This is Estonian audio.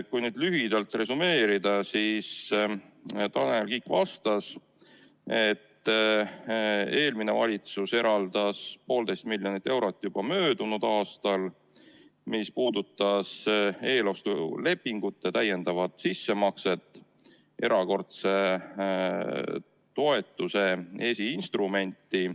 Kui lühidalt resümeerida, siis Tanel Kiik vastas, et eelmine valitsus eraldas 1,5 miljonit eurot juba möödunud aastal, see puudutas eelostulepingute täiendavat sissemakset erakordse toetuse esiinstrumenti.